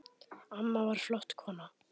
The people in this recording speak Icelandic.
Amma var flott kona.